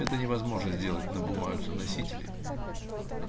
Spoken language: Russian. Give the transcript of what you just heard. это невозможно сделать на бумажном носителе